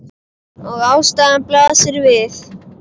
Og ástæðan blasir við.